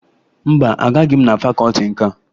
Mba, agaghị m na fakọọti nka